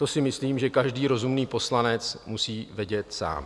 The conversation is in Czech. To si myslím, že každý rozumný poslanec musí vědět sám.